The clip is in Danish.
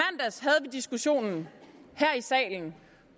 diskussionen her i salen